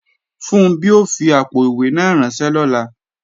Funbí ó fi àpò-ìwé náà ránṣẹ́ lọ́la